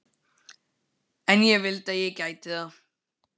En ég vildi að ég gæti það.